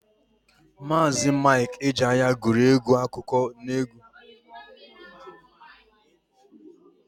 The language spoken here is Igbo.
Maazi Mik Ejeaya guru egwu akụkọ n'egwu.